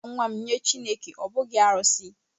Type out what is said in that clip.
M ga-arara nwa m nye Chineke, ọ bụghị arụsị